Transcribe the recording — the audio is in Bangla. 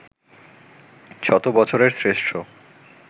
শত বছরের শ্রেষ্ঠ